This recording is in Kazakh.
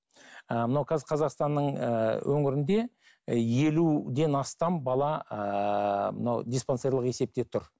ыыы мынау қазір қазақстанның ііі өңірінде елуден астам бала ііі мынау диспансерлік есепте тұр